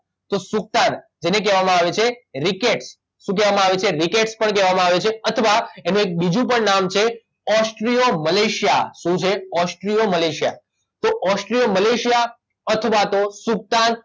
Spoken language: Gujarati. તો સુકતાન જેને કહેવામાં આવે છે રીકેટ શું કહેવામાં આવે છે રીકેટ પણ કહેવામાં આવે છે અથવા એનું એક બીજું પણ નામ છે ઓસ્ટ્રિયો મલેશિયા શું છે ઓસ્ટ્રિયો મલેશિયા તો ઓસ્ટ્રિયો મલેશિયા અથવા તો સૂકતાન